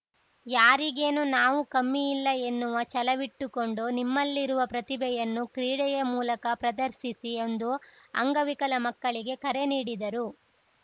ಯಾರಿಗೇನು ನಾವು ಕಮ್ಮಿಯಿಲ್ಲ ಎನ್ನುವ ಛಲವಿಟ್ಟುಕೊಂಡು ನಿಮ್ಮಲ್ಲಿರುವ ಪ್ರತಿಭೆಯನ್ನು ಕ್ರೀಡೆಯ ಮೂಲಕ ಪ್ರದರ್ಶಿಸಿ ಎಂದು ಅಂಗವಿಕಲ ಮಕ್ಕಳಿಗೆ ಕರೆ ನೀಡಿದರು